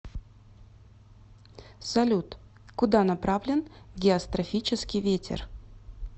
салют куда направлен геострофический ветер